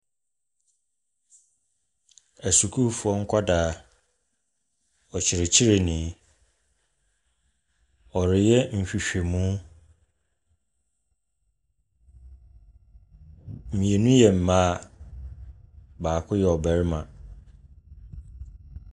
Asukuufoɔ nkwadaa ne ɔkyerɛkyerɛni a ɔre yɛ nhwehwɛmu. Mienu yɛ mmaa baako yɛ ɔbarima.